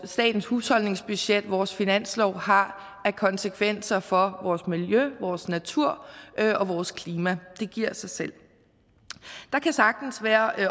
statens husholdningsbudget vores finanslov har af konsekvenser for vores miljø vores natur og vores klima det giver sig selv der kan sagtens være